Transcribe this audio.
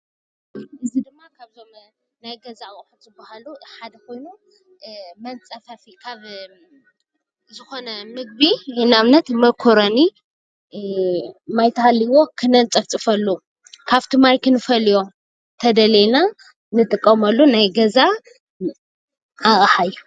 እዚ ድማ ካብቶም ናይ ገዛ ኣቁሑት ዝባሃሉ ሓደ ኮይኑ መፅፈፊ ማይ ኮይኑ ንኣብነት መኮሬኒ ንምፅፋፍ ንጥቀመሉ ኣቅሓ እዩ።